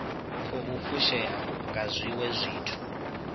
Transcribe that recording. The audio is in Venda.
khou fushea nga zwiwe zwithu